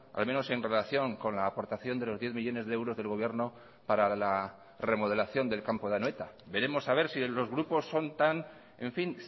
al menos en relación con la aportación de los diez millónes de euros del gobierno para la remodelación del campo de anoeta veremos a ver si los grupos son tan en fin